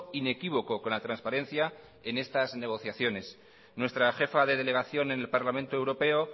inequívoco con la transparencia en estas negociaciones nuestra jefa de delegación en el parlamento europeo